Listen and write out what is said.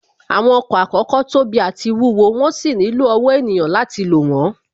Àwọn ọkọ̀ àkọ́kọ́ tóbi àti wúwo, wón sì nílò ọ̀wọ́ ènìyàn láti lò wón